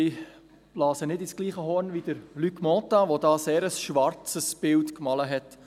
Ich blase nicht ins gleiche Horn wie Luc Mentha, der von diesem Vorstoss ein sehr schwarzes Bild gemalt hat.